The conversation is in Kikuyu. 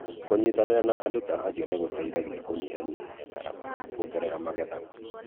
Kũnyitanĩra na andũ ta acio nĩ gũteithagia kũnyihanyihia ngarama na kũongerera magetha.